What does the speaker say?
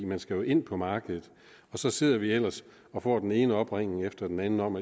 man skal jo ind på markedet og så sidder de ellers og får den ene opringning efter den anden om